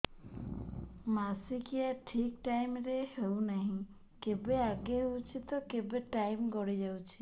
ମାସିକିଆ ଠିକ ଟାଇମ ରେ ହେଉନାହଁ କେବେ ଆଗେ ହେଇଯାଉଛି ତ କେବେ ଟାଇମ ଗଡି ଯାଉଛି